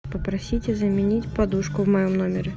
попросите заменить подушку в моем номере